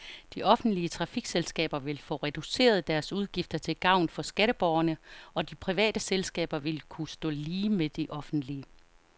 De offentlige trafikselskaber vil få reduceret deres udgifter til gavn for skatteborgerne, og de private selskaber vil kunne stå lige med de offentlige.